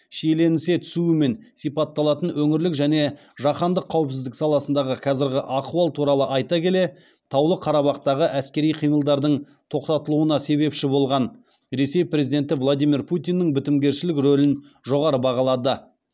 шиеленісе түсуімен сипатталатын өңірлік және жаһандық қауіпсіздік саласындағы қазіргі ахуал туралы айта келе таулы қарабақтағы әскери қимылдардың тоқтатылуына себепші болған ресей президенті владимир путиннің бітімгершілік рөлін жоғары бағалады